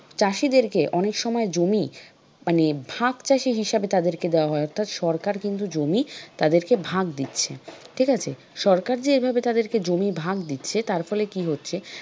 চাষীদেরকে অনেক সময় জমি মানে ভাগচাষী হিসেবে তাদেরকে দেওয়া হয় অর্থাৎ সরকার কিন্তু জমি তাদেরকে ভাগ দিচ্ছে ঠিক আছে? সরকার যে এভাবে জমি তাদেরকে ভাগ দিচ্ছে তারপরে কি হচ্ছে,